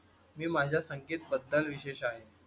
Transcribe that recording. मी माझ्या संगीत बद्दल विशेष आहे.